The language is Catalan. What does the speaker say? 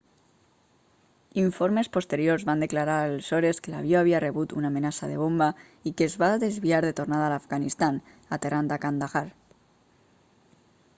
informes posteriors van declarar aleshores que l'avió havia rebut una amenaça de bomba i que es va desviar de tornada a l'afganistan aterrant a kandahar